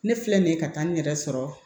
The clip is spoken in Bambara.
Ne filɛ nin ye ka taa n yɛrɛ sɔrɔ